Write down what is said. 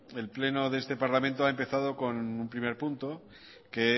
el pleno de este parlamento ha empezado con un primer punto que